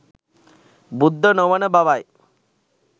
බුද්ධ නොවන බව යි.